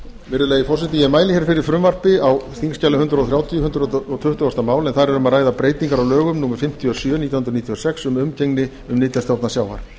virðulegi forseti ég mæli fyrir frumvarpi á þingskjali hundrað þrjátíu hundrað tuttugasta mál en þar er um að ræða breytingar á lögum númer fimmtíu og sjö nítján hundruð níutíu og sex um umgengni um nytjastofna sjávar